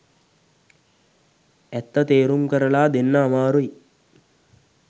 ඇත්ත තේරුම් කරලා දෙන්න අමාරුයි.